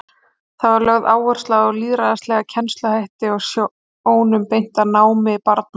Þar var lögð áhersla á lýðræðislega kennsluhætti og sjónum beint að námi barna.